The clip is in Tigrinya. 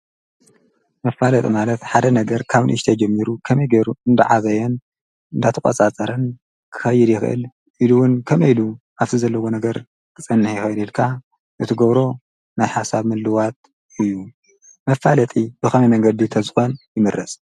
መፋለጥ ማለት ሓደ ነገር ካብ ንእሽተይ ጀሚሩ ኸመይ ገይሩ እንደዓበየን እንዳተቖጻጸርን ክይድ ይኽእል፣ ኢሉ እውን ከመይ ኢሉ ኣብቲ ዘለዎ ነገር ኽጸንሕ ይኸይል ከልእ ካዓ እቲ ገብሮ ናይ ሓሳብ ምልውዋጥ እዩ። መፋለጢ ብኸመይ መንገዲ ተዝኮን ይመረጽ?